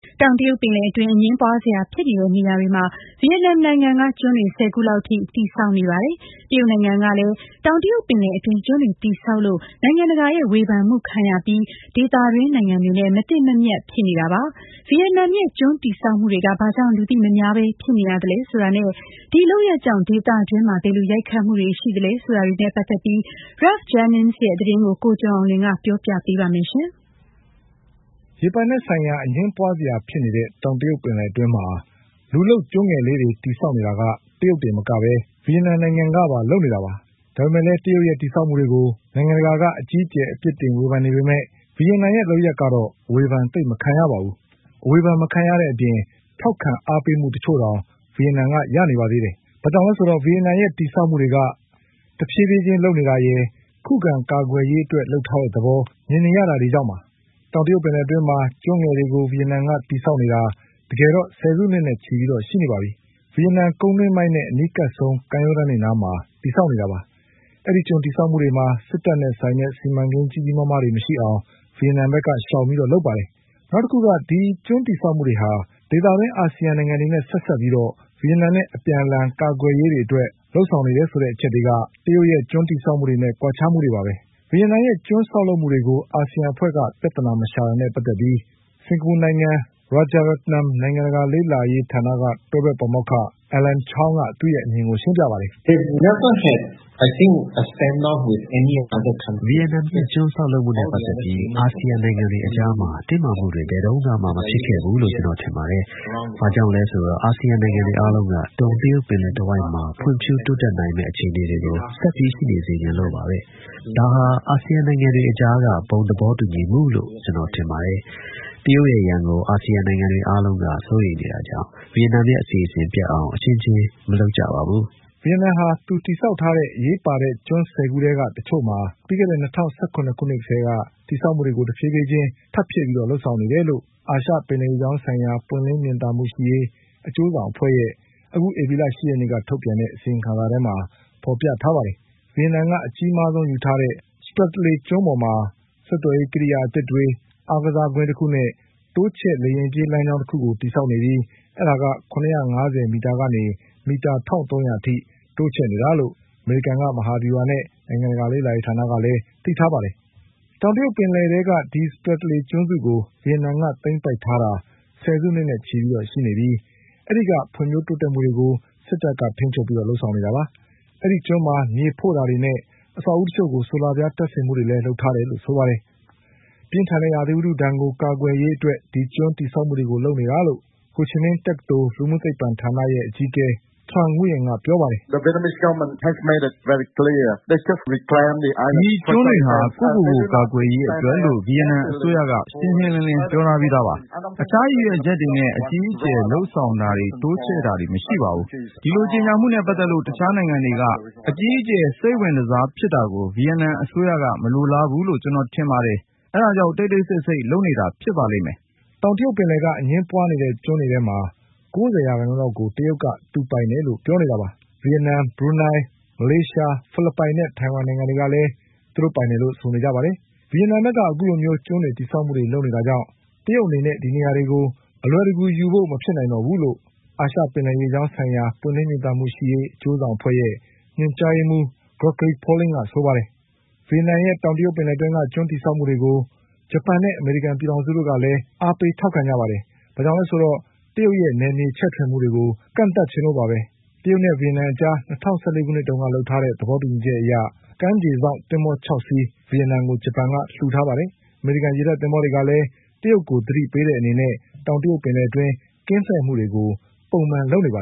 တောင်တရုတ်ပင်လယ်အတွင်း အငြင်းပွါးစရာဖြစ်နေတဲ့ နေရာတွေမှာ ဗီယက်နမ်နိုင်ငံက ကျွန်းတွေ ၁၀ခုလောက်အထိ တည်ဆောက်နေပါတယ်။ တရုတ်နိုင်ငံကလည်း တောင်တရုတ်ပင်လယ်အတွင်း ကျွန်းတွေ တည်ဆောက်လို့ နိုင်ငံတကာရဲ့ဝေဖန်မှုတွေခံနေရပြီး ဒေသတွင်းနိုင်ငံတွေနဲ့ မသင့်မမြတ်တွေ ဖြစ်နေတာပါ။ ဗီယက်နမ်ရဲ့ ကျွန်းတည်ဆောက်မှုတွေက ဘာကြောင့် လူသိမများပဲဖြစ်နေရသလဲဆိုတာနဲ့ ဒီလုပ်ရပ်ကြောင့် ဒေသတွင်းမှာ ဘယ်လိုရိုက်ခတ်မှုတွေရှိသလဲဆိုတာတွေနဲ့ ပတ်သက်ပြီး Ralph Jennings ရဲ့သတင်းကို ကိုကျော်အောင်လွင် ဆက်ပြောပါလိမ့်မယ်။ ရေပိုင်နက်ဆိုင်ရာ အငြင်းပွါးစရာဖြစ်နေတဲ့ တောင်တရုတ်ပင်လယ်အတွင်းမှာ လူလုပ်ကျွန်းငယ်လေးတွေ တည်ဆောက်နေတာက တရုတ်တင်မက ဗီယက်နမ်ကပါ လုပ်နေတာပါ။ ဒါပေမဲ့လည်း တရုတ်ရဲ့ တည်ဆောက်မှုတွေကို နိုင်ငံတကာက အကြီးအကျယ် အပြစ်တင်ဝေဖန်နေပေမဲ့ ဗီယက်နမ်ရဲ့ လုပ်ရပ်ကတော့ အဝေဖန်သိပ် မခံရပါဘူး။ အဝေဖန်မခံရတဲ့အပြင် ထောက်ခံအားပေးမှုတချို့တောင် ဗီယက်နမ်က ရနေပါသေးတယ်။ ဘာကြောင့်လဲဆိုတော့ ဗီယက်နမ်ရဲ့ တည်ဆောက်မှုက တဖြေးဖြေးချင်း လုပ်နေတာရယ်၊ ခုခံကာကွယ်ရေးအတွက် လုပ်ထားတဲ့သဘော မြင်ရတာရယ်တွေကြောင့်ပါ။ တောင်တရုတ်ပင်လယ်အတွင်းမှာ ကျွန်းငယ်တွေကို ဗီယက်နမ်က တည်ဆောက်နေတာတကယ်တော့ ဆယ်စုနှစ်နဲ့ချီပြီးရှိနေပါပြီ။ ဗီယက်နမ်ကုန်းတွင်းပိုင်းနဲ့ အနီးကပ်ဆုံး ကမ်းရိုးတန်းတွေနားမှာ တည်ဆောက်နေတာပါ။ အဲဒီကျွန်းတည်ဆောက်မှုတွေမှာ စစ်တပ်နဲ့ဆိုင်တဲ့ စီမံကိန်းကြီးကြီးမားမားတွေ မရှိအောင် ဗီယက်နမ်ကရှောင်ပြီး လုပ်ပါတယ်။ နောက်တခုက ဒီ ကျွန်းတည်ဆောက်မှုတွေဟာ ဒေသတွင်း အာစီယံနိုင်ငံတွေနဲ့ ဆက်စပ်ပြီး ဗီယက်နမ်နဲ့ အပြန်အလှန် ကာကွယ်ရေးတွေအတွက် လုပ်ဆောင်နေတဲ့ အချက်တွေက တရုတ်ရဲ့ကျွန်းဆောက်လုပ်မှုတွေနဲ့ ကွာခြားမှုတွေပါပဲ။ ဗီယက်နမ်ရဲ့ ကျွန်းဆောက်လုပ်မှုတွေကို အာစီယံအဖွဲ့က ပြဿနာမရှာတာနဲ့ ပတ်သက်ပြီး စင်္ကာပူနိုင်ငံ Rajaratnam နိုင်ငံတကာလေ့လာ ရေးဌာနက တွဲဘက်ပါမောက္ခ Alan Chong က သူ့ရဲ့ အမြင်ကို ရှင်းပြပါတယ်။ "ဗီယက်နမ်ရဲ့ ကျွန်းဆောက်လုပ်မှုနဲ့ ပတ်သက်ပြီး အာစီယံနိုင်ငံတွေအကြားမှာ တင်းမာမှုတွေဘယ်တုန်းကမှ မဖြစ်ခဲ့ဘူးလို့ ကျနော်ထင်ပါတယ်။ ဘာကြောင့်လဲဆိုတော့ အာစီယံနိုင်ငံတွေအားလုံးက တောင်တရုတ်ပင်လယ်တဝိုက်မှာ ဖွံ့ဖြိုးတိုးတက်နိုင်မယ့် အခြေအနေတွေကို ဆက်ပြီး ရှိနေစေချင်လို့ပါပဲ။ ဒါဟာ အာစီယံနိုင်ငံတွေအကြားက ဘုံသဘောတူညီမှုလို့ ကျနော်ထင်ပါတယ်။ တရုတ်ရဲ့ရန်ကို အာစီယံနိုင်ငံတွေအားလုံးက စိုးရိမ်နေတာကြောင့် ဗီယက်နမ်ရဲ့အစီအစဉ်ပျက်အောင် အချင်းချင်း မလုပ်ကြပါဘူး။" ဗီယက်နမ်ဟာ သူတည်ဆောက်ထားတဲ့ အရေးပါတဲ့ ကျွန်း ၁၀ခုထဲက တချို့မှာ ပြီးခဲ့တဲ့၂၀၁၇ ခုနှစ်ကတည်းက တည်ဆောက်မှုတွေကို တဖြေးဖြေးချင်း ထပ်ဖြည့်ပြီး လုပ်ဆောင်နေတာလို့ အာရှပင်လယ်ရေကြောင်းဆိုင်ရာ ပွင့်လင်းမြင်သာမှုရှိရေး အကျိုးဆောင်အဖွဲ့ရဲ့ အခုဧပြီလ ၈ရက်နေ့ကထုတ်ပြန်တဲ့ အစီရင်ခံစာမှာ ဖေါ်ပြထားပါတယ်။ ဗီယက်နမ်ကအကြီးမားဆုံးယူထားတဲ့ Spratly ကျွန်းပေါ်မှာ ဆက်သွယ်ရေး ကိရိယာအသစ်တွေ အားကစားကွင်းတခုနဲ့ တိုးချဲ့လေယာဉ်ပြေး လမ်းကြောင်းတခုကို တည်ဆောက်နေပြီး အဲဒါက ၇၅၀မီတာကနေ မီတာ ၁၃၀၀ အထိတိုးချဲ့နေတာလို့ အမေရိကန်က မဟာဗျူဟာနဲ့ နိုင်ငံတကာ လေ့လာရေးဌာနကလည်း သိထားပါတယ်။ တောင်တရုတ်ပင်လယ်ထဲက ဒီ Spratly ကျွန်းစုကို ဗီယက်နမ်က သိမ်းပိုက်ထားတာ ဆယ်စုနှစ်နဲ့ချီရှိနေပြီး အဲဒီကဖွံ့ဖြိုး တိုးတက်မှုတွေကို စစ်တပ်ကထိမ်းချုပ်ပြီး လုပ်ဆောင်နေတာပါ။ အဲဒီကျွန်းမှာမြေဖို့တာတွေနဲ့ အဆောက်အဦးတချို့မှာ ဆိုလာပြားတပ်ဆင်မှုတွေလုပ်ထားတယ်လို့ ဆိုပါတယ်။ ပြင်းထန်တဲ့ ရာသီဥတုဒဏ်ကို ကာကွယ်ရေးအတွက် ဒီကျွန်းတည်ဆောက်မှုတွေ လုပ်နေတာလို့ ဟိုချီမင်းတက္ကသိုလ် လူမှုသိပ္ပံဌာနရဲ့ အကြီးအကဲ Trung Nguyen ကပြောပါတယ်။ "ဒီကျွန်းတွေဟာ ကိုယ့်ကိုယ်ကိုယ် ကာကွယ်ရေးအတွက်လို့ ဗီယက်နမ်အစိုးရက ရှင်းရှင်းလင်းလင်း ပြောထားပြီးသားပါ။ တခြားရည်ရွယ်ချက်တွေနဲ့ အကြီးအကျယ်လုပ်ဆောင်တာတွေ တိုးချဲ့တာတွေ မရှိပါဘူး။ ဒီလိုကြေညာမှုနဲ့ ပတ်သက်ပြီး တခြားနိုင်ငံတွေက အကြီးအကျယ် စိတ်ဝင်တစားဖြစ်တာကို ဗီယက်နမ်အစိုးရက မလိုလားဘူးလို့ကျနော်ထင်ပါတယ်။ အဲဒါကြောင့် တိတ်တိတ်ဆိတ်ဆိတ် လုပ်နေတာ ဖြစ်ပါလိမ့်မယ်။" တောင်တရုတ်ပင်လယ်က အငြင်းပွါးနေတဲ့ ကျွန်းတွေထဲမှာ ၉၀ ရာခိုင်နှုန်းလောက်ကို တရုတ်က သူပိုင်တယ်လို့ ပြောနေတာပါ။ ဗီယက်နမ်၊ ဘရူးနိုလ်း၊ မလေးရှား၊ ဖိလစ်ပိုင်နဲ့ ထိုင်ဝမ်နိုင်တွေကလည်း သူတို့ပိုင်တယ်လို့ ဆိုနေကြတာပါ။ ဗီယက်နမ်ဘက်က အခုလိုကျွန်းတည်ဆောက်မှုတွေ လုပ်နေတာကြောင့် တရုတ်အနေနဲ့ ဒီနေရာတွေကို အလွယ်တကူဖို့ မဖြစ်နိုင်တော့ဘူးလို့ အာရှပင်လယ်ရေကြောင်းဆိုင်ရာ ပွင့်လင်းမြင်သာမှုရှိရေး အကျိုးဆောင်အဖွဲ့ရဲ့ ညွှန်ကြားရေးမှုး Gregory Polingက ဆိုပါတယ်။ ဗီယက်နမ်ရဲ့ကျွန်းတည်ဆောက်မှုတွေကို ဂျပန်နဲ့ အမေရိကန်ပြည်ထောင်စုကလည်း အားပေးထောက်ခံကြပါတယ်။ ဘာကြောင့်လည်းဆိုတော့ တရုတ်ရဲ့ နယ်မြေချဲ့ထွင်မှုတွေကို ကန့်သတ်စေချင်လို့ပါပဲ။ ဂျပန်နဲ့ ဗီယက်နမ်အကြား ၂၀၁၄ခုနှစ်က လုပ်ထားတဲ့သဘောတူညီချက်အရ ကမ်းခြေစောင့်သင်္ဘော ၆ စီး ဗီယက်နမ်ကို ဂျပန်က လှူထားပါတယ်။ အမေရိကန် ရေတပ်သင်္ဘောတွေကလည်း တရုတ်ကို သတိပေးတဲ့အနေနဲ့ တောင်တရုတ်ပင်လယ်အတွင်း ကင်းလှည့်မှုတွေကို ပုံမှန် လုပ်နေတာပါ